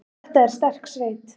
Þetta er sterk sveit.